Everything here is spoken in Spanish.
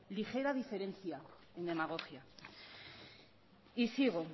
ligera diferencia en demagogia y sigo